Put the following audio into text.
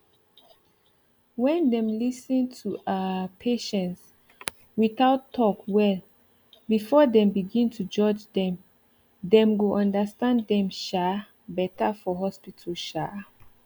when dem lis ten to um patients without talk well before them begin to judge them dem go understand dem um better for hospital um